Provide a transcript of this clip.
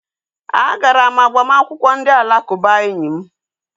A gara m agbamakwụkwọ ndị alakụba enyi m